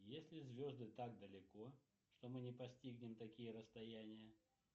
если звезды так далеко что мы не постигнем такие расстояния